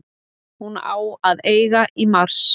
Hún á að eiga í mars.